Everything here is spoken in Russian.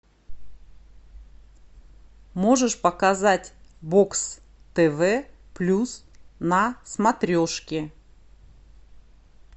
можешь показать бокс тв плюс на смотрешке